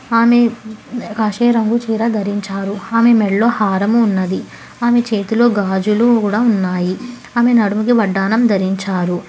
ఆమె కాషాయ రంగు చీర ధరించారు ఆమె మెడ్లో హారము ఉన్నది ఆమె చేతిలో గాజులు కూడా ఉన్నాయి ఆమె నడుముకి వడ్డానం ధరించారు